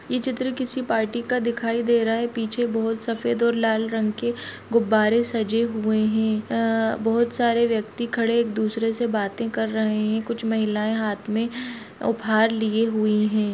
यह चित्र किसी पार्टी का दिखाई दे रहा है पीछे बहुत सफ़ेद और लाल रंग के गुब्बारे सजे हुए है ए अ बहुत सारे व्यक्ति खड़े एक दुसरे से बाते कर रहे है कुछ महिलाएं है हाथ में उपहार लिए हुए है।